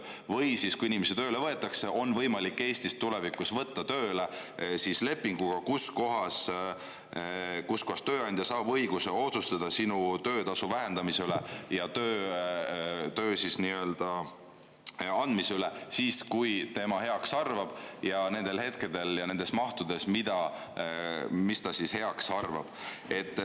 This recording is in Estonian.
Või siis, kui inimesi tööle võetakse, on võimalik Eestis tulevikus võtta tööle lepinguga, mille järgi tööandja saab õiguse otsustada sinu töötasu vähendamise üle ja sulle töö andmise üle siis, kui tema heaks arvab, ning nendel hetkedel ja sellises mahus, nagu ta heaks arvab.